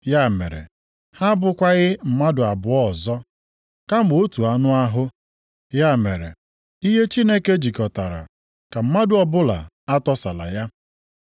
Ya mere, ha abụkwaghị mmadụ abụọ ọzọ, kama otu anụ ahụ. Ya mere, ihe Chineke jikọtara, ka mmadụ ọbụla atọsala ya.”